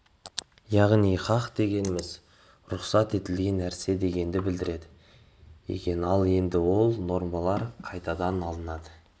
яғни хақ дегеніміз рұқсат етілген нәрсе дегенді білдіреді екен ал енді сол нормалар қайдан алынады